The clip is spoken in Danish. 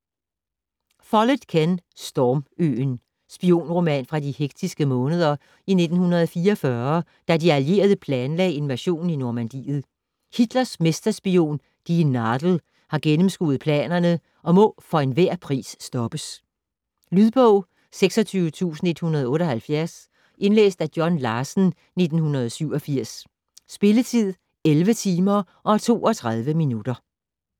Follett, Ken: Storm-øen Spionroman fra de hektiske måneder i 1944, da de allierede planlagde invasionen i Normandiet. Hitlers mesterspion "die Nadel" har gennemskuet planerne og må for enhver pris stoppes. Lydbog 26178 Indlæst af John Larsen, 1987. Spilletid: 11 timer, 32 minutter.